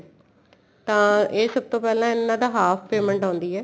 ਤਾਂ ਇਹ ਸਭ ਤੋਂ ਪਹਿਲਾਂ ਇਹਨਾ ਦਾ half payment ਆਉਂਦੀ ਏ